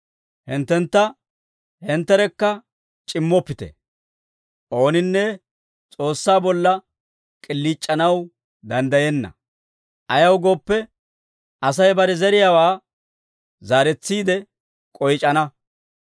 Hinttentta hintterekka c'immoppite. Ooninne S'oossaa bolla k'iliic'anaw danddayenna; ayaw gooppe, Asay bare zeriyaawaa zaaretsiide k'oyc'ana.